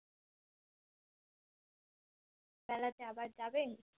মেলাতে আবার যাবেন?